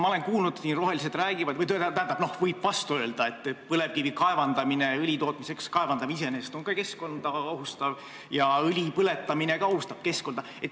Aga võib vastu öelda, et põlevkivi õli tootmiseks kaevandamine on iseenesest ka keskkonda ohustav ja õli põletamine ka ohustab keskkonda.